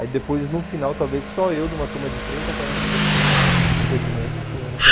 Aí depois, no final, talvez só eu, de uma turma de trinta, quarenta pessoas, infelizmente, fui o único a...